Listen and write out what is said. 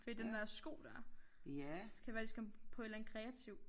Fordi den der sko dér. Skal være de skal komme på et eller andet kreativt